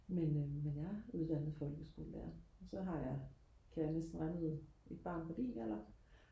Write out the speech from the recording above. men øhm jeg er uddannet folkeskolelærer og så har jeg kan jeg næsten regne ud et barn på din alder